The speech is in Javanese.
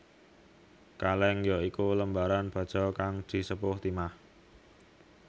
Kalèng ya iku lembaran baja kang disepuh timah